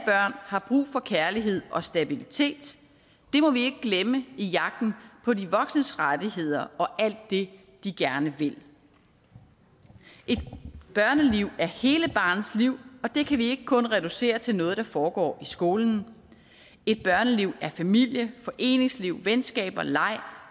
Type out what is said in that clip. har brug for kærlighed og stabilitet det må vi ikke glemme i jagten på de voksnes rettigheder og alt det de gerne vil et børneliv er hele barnets liv og det kan vi ikke kun reducere til noget der foregår i skolen et børneliv er familie foreningsliv venskaber leg